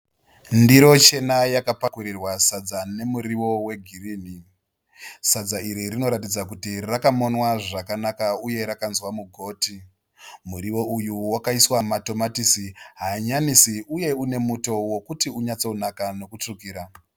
Ndiro chena yakapakurirwa sadza nemuriwo wegirinhi. Sadza iri rinoratidza kuti rakamonwa zvakanaka uye rakanzwa mugoti. Muriwo uyu wakaiswa matomatisi, hanyanisi uye une muto wokuti unyatsonaka nokutsvukira.